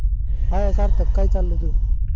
hi Sarthak, काय चाललय तुझ?